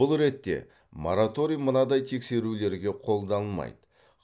бұл ретте мораторий мынадай тексерулерге қолданылмайды